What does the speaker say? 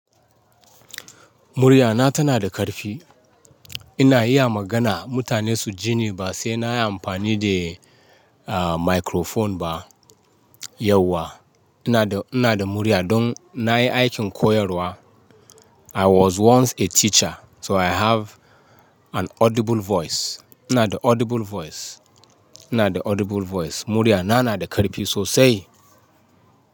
Muryana tana da ƙarfi. Ina iya magana mutane su ji ni ba sai na yi amfani da, ah, microphone ba. Yauwa ina da, ina da murya don na yi aikin koyarwa. I was once a teacher so I have an audible voice. Ina da audible voice. Ina da audible voice. Muryana na da ƙarfi so sai.